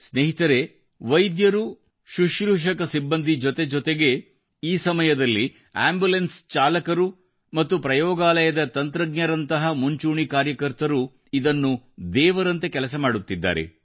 ಸ್ನೇಹಿತರೆ ವೈದ್ಯರು ಶುಶ್ರೂಷಕ ಸಿಬ್ಬಂದಿ ಜೊತೆ ಜೊತೆಗೆ ಈ ಸಮಯದಲ್ಲಿ ಆಂಬುಲೆನ್ಸ್ ಚಾಲಕರು ಮತ್ತು ಪ್ರಯೋಗಾಲಯದ ತಂತ್ರಜ್ಞರಂತಹ ಮುಂಚೂಣಿ ಕಾರ್ಯಕರ್ತರು ಇದನ್ನು ದೇವರಂತೆ ಕೆಲಸ ಮಾಡುತ್ತಿದ್ದಾರೆ